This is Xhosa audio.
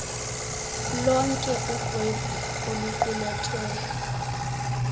lonke uxwebhu oluqulethwe